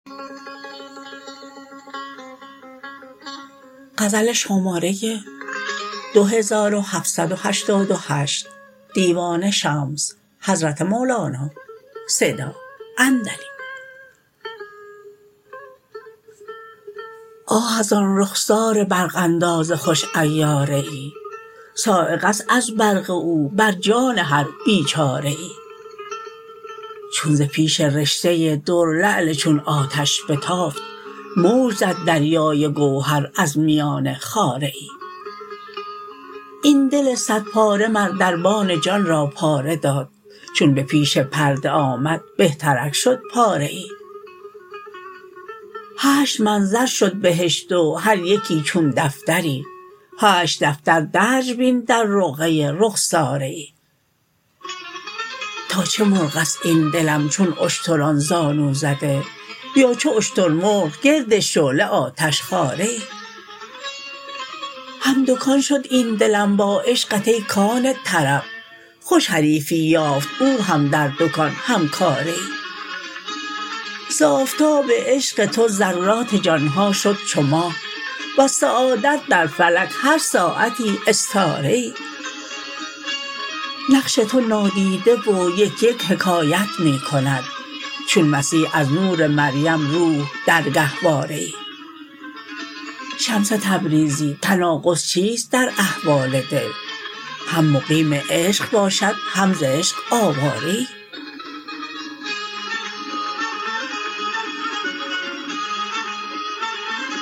آه از آن رخسار برق انداز خوش عیاره ای صاعقه است از برق او بر جان هر بیچاره ای چون ز پیش رشته ای در لعل چون آتش بتافت موج زد دریای گوهر از میان خاره ای این دل صدپاره مر دربان جان را پاره داد چون به پیش پرده آمد بهترک شد پاره ای هشت منظر شد بهشت و هر یکی چون دفتری هشت دفتر درج بین در رقعه ای رخساره ای تا چه مرغ است این دلم چون اشتران زانو زده یا چو اشترمرغ گرد شعله آتشخواره ای هم دکان شد این دلم با عشقت ای کان طرب خوش حریفی یافت او هم در دکان هم کاره ای ز آفتاب عشق تو ذرات جان ها شد چو ماه وز سعادت در فلک هر ساعتی استاره ای نقش تو نادیده و یک یک حکایت می کند چون مسیح از نور مریم روح در گهواره ای شمس تبریزی تناقض چیست در احوال دل هم مقیم عشق باشد هم ز عشق آواره ای